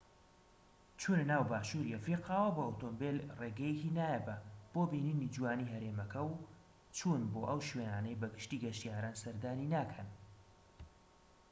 چونەناو باشووری ئەفریقاوە بە ئۆتۆمبیل ڕێگەیەکی نایابە بۆ بینینی جوانیی هەرێمەکە و چون بۆ ئەو شوێنانەی بە گشتیی گەشتیاران سەردانی ناکەن